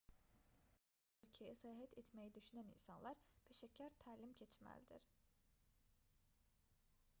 müharibə vəziyyətində olan bir ölkəyə səyahət etməyi düşünən insanlar peşəkar təlim keçməldir